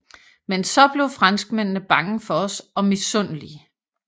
Men så blev franskmændene bange for os og misundelige